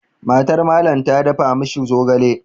MatarMallam ta dafa ma shi zogale.